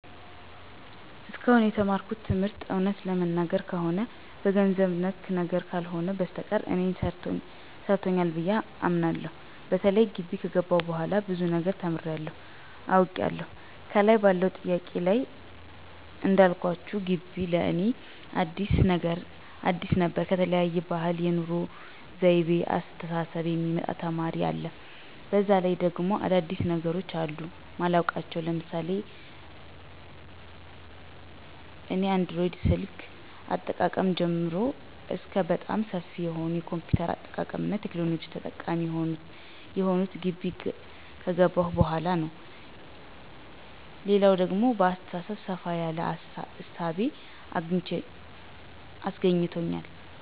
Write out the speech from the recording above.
እስካሁን የተማርኩት ትምህርት እውነት ለመናገር ከሆነ በገንዘብ ነክ ነገር ካልሆነ በስተቀር እኔን ሰርቶኛል ብየ አምናለሁ። በተለይ ጊቢ ከገባሁ በኋላ ብዙ ነገር ተምሬያለሁ፤ አውቄያለሁ። ከላይ ባለው ጥያቄ ላይ እንዳልኳችሁ ጊቢው ለእኔ አዲስ ነበር ከተለያየ ባህል፣ የኑሮ ወይቤ፣ አስተሳሰብ የሚመጣ ተማሪ አለ፤ በዛ ላይ ደግሞ አዳዲስ ነገሮች አሉ ማላውቃቸው ለምሳሌ እኔ አንድሮይድ ስልክ አጠቃቀም ጀምሮ እስከ በጣም ሰፊ የሆነ የ ኮምፒውተር አጠቃቀምና ቴክኖሎጂ ተጠቃሚ የሆንሁት ጊቢ ከገባሁ በኋላ ነው። ሌላው ደግሞ በአሰተሳሰቤ ሰፋ ያለ እሳቤ አስገኝቶኛል።